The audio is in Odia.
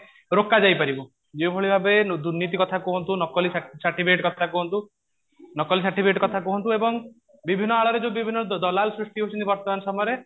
ରୋକାଯାଇ ପାରିବ ଯେଉଁ ଭଳି ଭାବେ ଦୁର୍ନୀତି କଥା କୁହନ୍ତୁ ନକଲି certificate କଥା କୁହନ୍ତୁ ନକଲି certificate କଥା କୁହନ୍ତୁ ଏବଂ ବିଭିନ୍ନ ଆଳରେ ଯୋଉ ବିଭିନ୍ନ ଦଲାଲ ସୃଷ୍ଟି ହଉଛନ୍ତି ବର୍ତମାନ ସମୟରେ